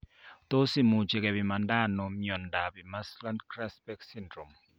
Tos imuchi kepimanda ano miondop Imerslund Grasbeck syndrome